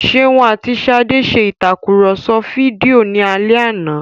Ṣeun àti Ṣadé ṣe ìtakùrọ̀sọ fídíò ní alẹ́ àná